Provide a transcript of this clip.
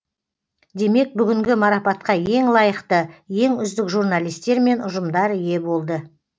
демек бүгінгі марапатқа ең лайықты ең үздік журналистер мен ұжымдар ие болды